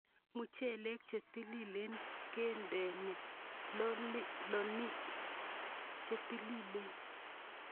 Muchelek che tililen kendeni lolonik che tililen